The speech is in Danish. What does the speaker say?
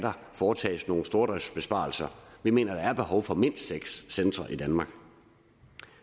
foretages nogle stordriftsbesparelser vi mener der er behov for mindst seks centre i danmark